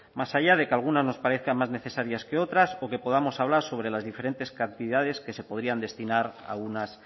más allá de que algunas nos parezcan más necesarias que otras o que podamos hablar sobre las diferentes cantidades que se podrían destinar a unas